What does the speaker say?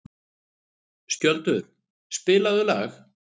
Skjöldur, spilaðu lag.